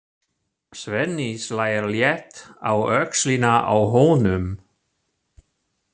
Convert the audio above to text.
Svenni slær létt á öxlina á honum.